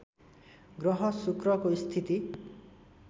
ग्रह शुक्रको स्थिति